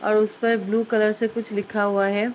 और उस पर ब्लू कलर से कुछ लिखा हुआ है।